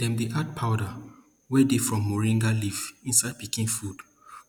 dem dey add powder wey dey from moringa leaf inside pikin food